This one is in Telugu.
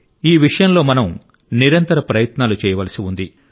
ఈ విషయంలో మనం నిరంతర ప్రయత్నాలు చేయవలసి ఉంది